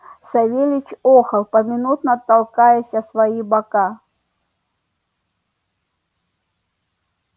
савельич охал поминутно толкаясь о свои бока